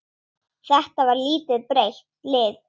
Þetta var lítið breytt lið?